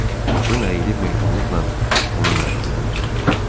Qadın əyilib mehribanlıqla onun əlindən tutdu.